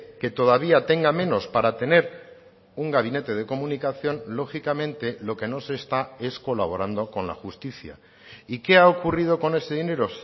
que todavía tenga menos para tener un gabinete de comunicación lógicamente lo que no se está es colaborando con la justicia y qué ha ocurrido con ese dinero